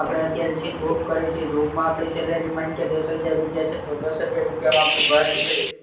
આપડે અત્યારે બૌ કરે છે job માં આપડી salary મન કે દસ હજાર રૂપિયા છે તો દસ હજાર રૂપિયા માં આપડું ઘર નીકળી